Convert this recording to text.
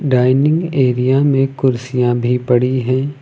Dining area में कुर्सियां भी पड़ी है।